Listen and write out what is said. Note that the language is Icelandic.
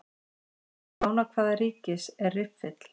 Í fána hvaða ríkis er riffill?